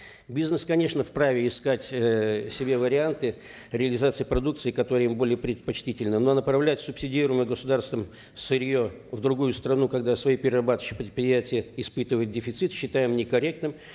бизнес конечно вправе искать эээ себе варианты реализации продукции которая им более предпочтительна но направлять субсидируемое государством сырье в другую страну когда свои перерабатывающие предприятия испытывают дефицит считаем некорректным